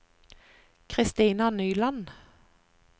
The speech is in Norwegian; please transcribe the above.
Kristina Nyland